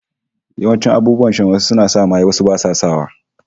Wasu abubuwan shan suna sa maye, wasu basu sa wa